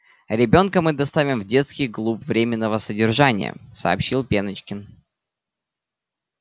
ребёнка мы доставим в детский клуб временного содержания сообщил пеночкин